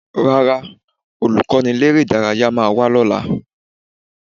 Rárá, Olùkọ́niléré-ìdárayá máa wá lọ́la